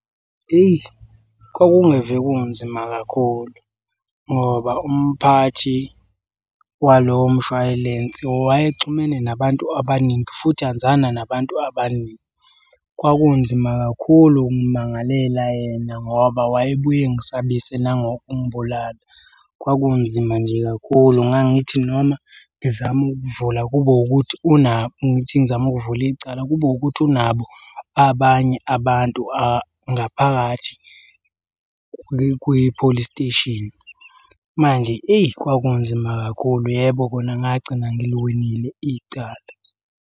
Eyi kwakungeve kunzima kakhulu ngoba umphathi walowo mshwayilensi wayexhumene nabantu abaningi futhi anzana nabantu abaningi. Kwakunzima kakhulu ukumangalela yena ngoba wayebuye engisabise nangokungibulala. Kwakunzima nje kakhulu ngangithi noma ngizama ukuvula kube ukuthi ngithi ngizama ukuvula icala kube ukuthi unabo abanye abantu ngaphakathi kwi-police station. Manje eyi kwakunzima kakhulu, yebo kona ngagcina ngiliwinile icala.